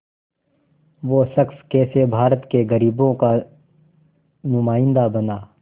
वो शख़्स कैसे भारत के ग़रीबों का नुमाइंदा बना